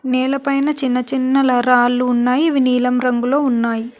నేలపైన చిన్న చిన్న లరాళ్ళు ఉన్నాయి ఇవి నీలం రంగులో ఉన్నాయి.